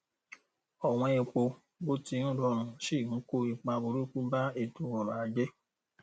ọwọn epo bó ti ń rọrùn ṣi ń kó ipa burúkú bá ètòọrọajé